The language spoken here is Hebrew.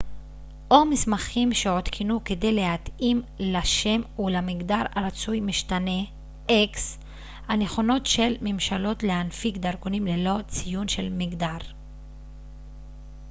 הנכונות של ממשלות להנפיק דרכונים ללא ציון של מגדר x או מסמכים שעודכנו כדי להתאים לשם ולמגדר הרצוי משתנה